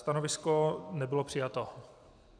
Stanovisko nebylo přijato.